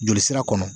Joli sira kɔnɔ